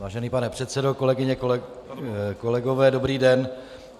Vážený pane předsedo, kolegyně, kolegové, dobrý den.